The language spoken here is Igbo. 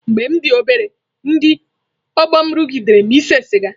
Mgbe m dị obere, ndị ọgbọ m rụgidere m ise siga.